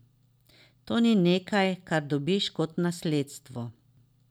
To ni nekaj, kar dobiš kot nasledstvo.